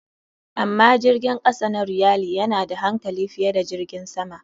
Amma jirgin kasa na realy yana da hankali fiye da jirgin sama.